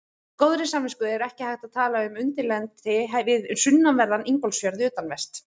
Með góðri samvisku er ekki hægt að tala um undirlendi við sunnanverðan Ingólfsfjörð, utanvert.